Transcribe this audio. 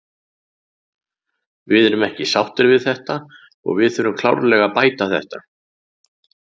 Við erum ekki sáttir við þetta og við þurfum klárlega að bæta þetta.